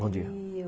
Bom dia.